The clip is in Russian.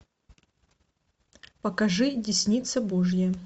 покажи десница божья